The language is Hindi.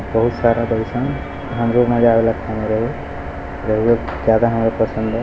बहुत सारा ज्यादा पसंद है।